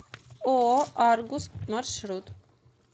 ооо аргус маршрут